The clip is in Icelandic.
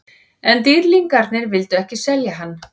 En Dýrlingarnir vildu ekki selja hann.